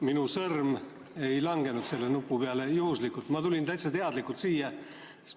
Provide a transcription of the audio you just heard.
Minu sõrm ei langenud selle nupu peale juhuslikult, ma tulin täitsa teadlikult siia.